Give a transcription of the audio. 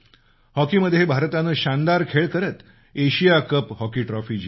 हॉकीत भारतानं शानदार खेळी करत एशिया कप हॉकी ट्रॉफी जिंकली